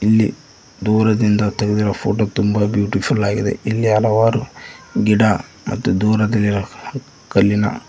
ಇಲ್ಲಿ ದೂರದಿಂದ ತೆಗಿದಿರೋ ಫೋಟೋ ತುಂಬ ಬ್ಯೂಟಿಫುಲ್ ಆಗಿದೆ ಇಲ್ಲಿ ಹಲವಾರು ಗಿಡ ಮತ್ತು ದೂರದಲ್ಲಿರೋ ಕಲ್ಲಿನ--